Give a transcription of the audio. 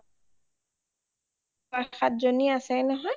চয়, সাত জনী আছেই নহয়